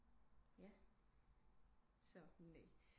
Ja så